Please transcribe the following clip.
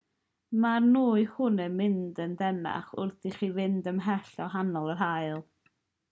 mae'r nwy hwn yn mynd yn deneuach wrth i chi fynd ymhellach o ganol yr haul